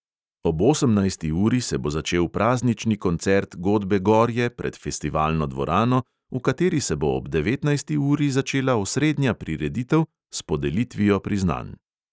Ob osemnajsti uri se bo začel praznični koncert godbe gorje pred festivalno dvorano, v kateri se bo ob devetnajsti uri začela osrednja prireditev s podelitvijo priznanj.